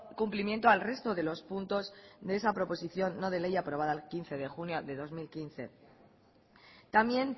cumplimiento al resto de los puntos de esa proposición no de ley aprobada el quince de junio de dos mil quince también